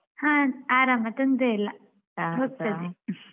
ಹಾ ಆರಾಮ ತೊಂದ್ರೆಯಿಲ್ಲ ಹೋಗ್ತದೆ